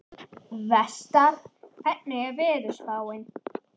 Vestar, hvernig er veðurspáin?